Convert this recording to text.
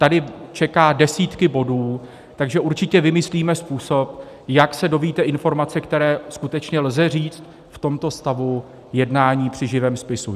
Tady čekají desítky bodů, takže určitě vymyslíme způsob, jak se dozvíte informace, které skutečně lze říci v tomto stavu jednání při živém spisu.